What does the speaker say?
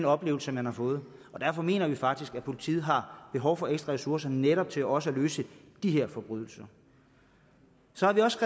oplevelse man har fået derfor mener vi faktisk at politiet har behov for ekstra ressourcer netop til også at løse de her forbrydelser så har vi også